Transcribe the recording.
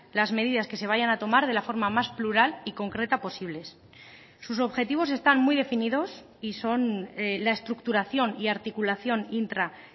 las medidas que se vayan a tomar de la forma más plural y concreta posibles sus objetivos están muy definidos y son la estructuración y articulación intra